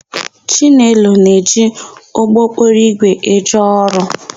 Chinelo na-eji ụgbọokporoigwe eje ọrụ.